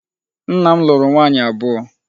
Nna m lụrụ nwaanyị abụọ.